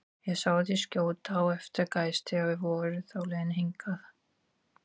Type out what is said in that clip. Ég sá þig skjóta á eftir gæs, þegar þið voruð á leiðinni hingað